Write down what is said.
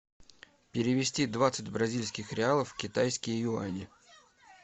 перевести двадцать бразильских реалов в китайские юани